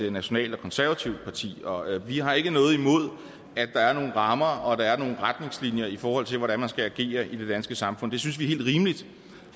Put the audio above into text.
et nationalt og konservativt parti og vi har ikke noget imod at der er nogle rammer og at der er nogle retningslinjer i forhold til hvordan man skal agere i det danske samfund det synes vi er helt rimeligt